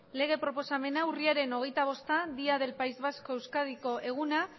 lege proposamena urriaren hogeita bosta día del país vasco euskadiko eguna